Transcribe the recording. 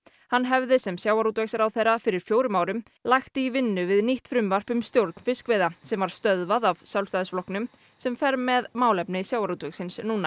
hann hefði sem sjávarútvegsráðherra fyrir fjórum árum lagt í vinnu við nýtt frumvarp um stjórn fiskveiða sem var stöðvað af Sjálfstæðisflokknum sem fer með málefni sjávarútvegsins núna